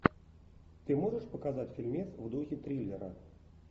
ты можешь показать фильмец в духе триллера